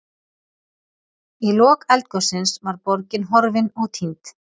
Í lok eldgossins var borgin horfin og týnd.